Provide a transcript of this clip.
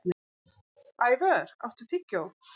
Ævör, áttu tyggjó?